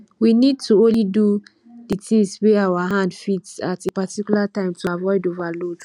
we need to only do di tins wey our hand fit at a particular time to avoid overload